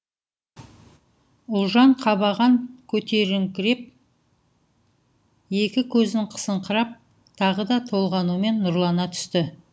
ұлжан қабаған көтеріңкіреп екі көзін қысыңқырап тағы да толғанумен нұрлана түсті